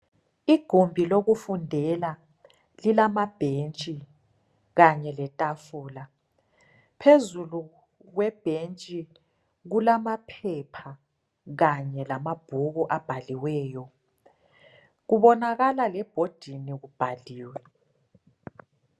Igombi lokufundela lilamabhentsi kanye letafula . Phezulu kwe bhentsi kulamaphepha kanye lamabhuku abhaliweyo kubonakala lebhodini kubhaliwe